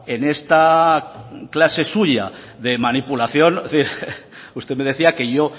en esta clase suya de manipulación usted me decía que yo